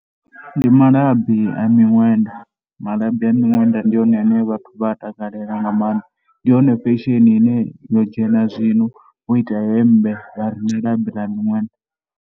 Ndi malabi a miṅwenda, malabi a miṅwenda ndi one ane vhathu vha a takalela nga maanḓa. Ndi yone fesheni ine yo dzhena zwino vho ita hemmbe vha ri na labi ḽa miṅwenda.